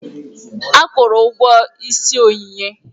Ekwuuru ụgwọ ịsị Onyinye.